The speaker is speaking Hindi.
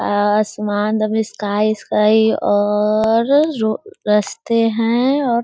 आसमान स्काई_ स्काई है और रस्ते हैं और--